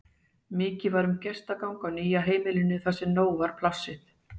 Mikið var um gestagang á nýja heimilinu þar sem nóg var plássið.